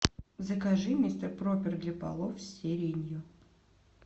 закажи мистер пропер для полов с сиренью